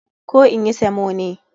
Koh in yi samo ne?